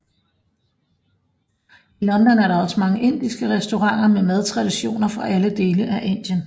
I London er der også mange indiske restauranter med madtraditioner fra alle dele af Indien